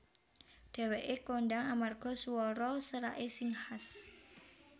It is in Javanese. Dhèwèké kondhang amarga swara seraké sing khas